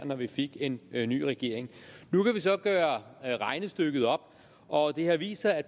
når vi fik en ny regering nu kan vi så gøre regnestykket op og det har vist sig at